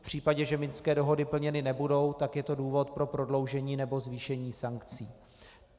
V případě, že Minské dohody plněny nebudou, tak je to důvod pro prodloužení nebo zvýšení sankcí.